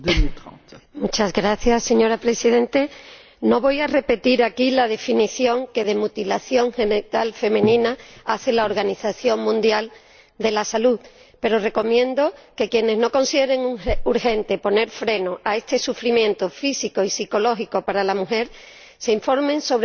Señora Presidenta, no voy a repetir aquí la definición que de mutilación genital femenina hace la Organización Mundial de la Salud, pero recomiendo que quienes no consideren urgente poner freno a este sufrimiento físico y psicológico para la mujer, se informen sobre lo que es exactamente.